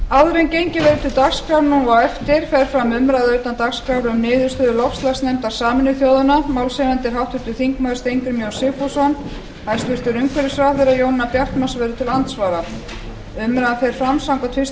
áður en gengið verður til dagskrár núna á eftir fer fram umræða utan dagskrár um niðurstöðu loftslagsnefndar sameinuðu þjóðanna málshefjandi er háttvirtur þingmaður steingrímur j sigfússon hæstvirtur umhverfisráðherra jónína bjartmarz verður til andsvara umræðan fer fram samkvæmt fyrstu